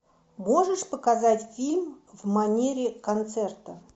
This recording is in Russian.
можешь показать фильм в манере концерта